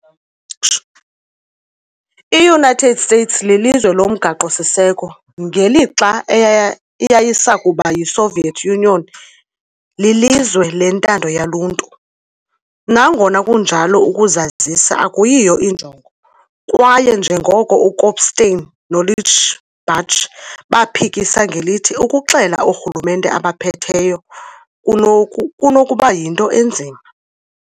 I-United States lilizwe lomgaqo-siseko, ngelixa eyayisakuba yiSoviet Union lilizwe lentando yoluntu. Nangona kunjalo ukuzazisa akuyiyo injongo, kwaye njengoko uKopstein noLichbach baphikisa ngelithi, ukuxela oorhulumente abaphetheyo kunokuba yinto enzima.